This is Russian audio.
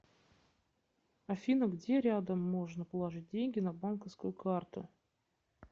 афина где рядом можно положить деньги на банковскую карту